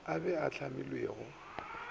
a be a a hlamilwego